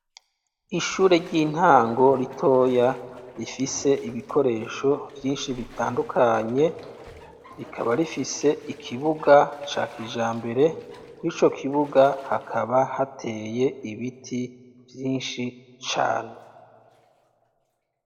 Ishure ry'intango ritoya, rifise ibikoresho vyinshi bitandukanye, rikaba rifise ikibuga ca kijambere, kw'ico kibuga hakaba hateye ibiti vyinshi cane.